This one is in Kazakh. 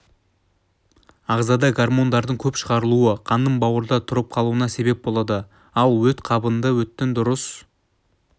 ағзада гормондардың көп шығарылуы қанның бауырда тұрып қалуына сеп болады ал ол өт қабында өттің дұрыс